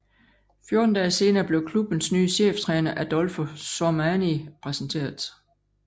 Fjorten dage senere blev klubbens nye cheftræner Adolfo Sormani præsenteret